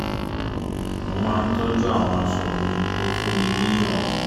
mo má ń tọ́jú àwọn aṣọ mi tó fún ni ní ìrọ̀rùn